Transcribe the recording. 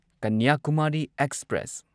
Kanyakumari express